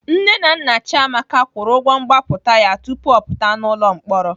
Nne na nna Chiamaka kwụrụ ụgwọ mgbapụta ya tupu ọ pụta n'ụlọ mkpọrọ.